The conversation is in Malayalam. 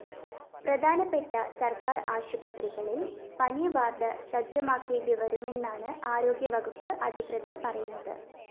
പ്രധാനപ്പെട്ട സര്‍ക്കാര്‍ ആശുപത്രികളില്‍ പനിവാര്‍ഡ് സജ്ജമാക്കേണ്ടിവരുമെന്നാണ് ആരോഗ്യവകുപ്പ് അധികൃതര്‍ പറയുന്നത്